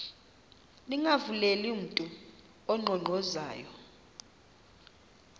ningavuleli mntu unkqonkqozayo